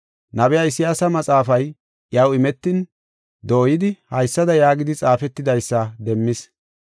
Nabiya Isayaasa maxaafay iyaw imetin, dooyidi, haysada yaagidi xaafetidaysa demmis: